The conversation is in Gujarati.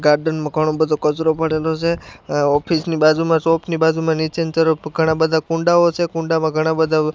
ગાર્ડન મા ઘણો બધો કચરો પડેલો છે અહ ઑફિસ ની બાજુમાં શોપ ની બાજુમાં નીચેની તરફ ઘણા બધા કૂંડાઓ છે કુંડામાં ઘણા બધા --